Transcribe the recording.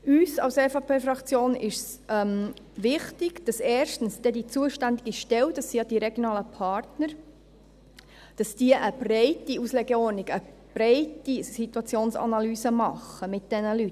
Uns von der EVP-Fraktion ist es wichtig, dass erstens dann die zuständigen Stellen – das sind ja die regionalen Partner – eine breite Auslegeordnung, eine breite Situationsanalyse mit diesen Leuten machen.